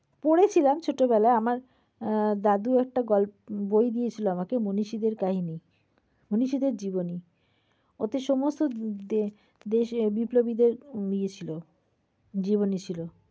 পড়েছিলাম ছোটবেলায় আমার এ~ দাদু একটা গল~বই দিয়েছিল আমাকে মনীষীদের কাহিনী। মনীষীদের জীবনী। ওতে সমস্ত দে~দেশ বিপ্লবীদের ইয়ে ছিল জীবনী ছিল।